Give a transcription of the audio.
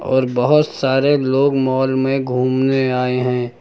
और बहोत सारे लोग मॉल में घूमने आए हैं।